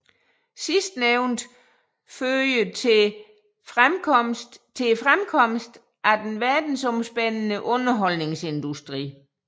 Sidstnævnte førte til fremkomsten af den verdensomspændende underholdningsindustri